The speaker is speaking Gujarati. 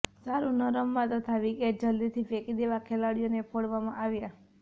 સારું ન રમવા તથા વિકેટ જલદીથી ફેંકી દેવા ખેલાડીઓને ફોડવામાં આવ્યાં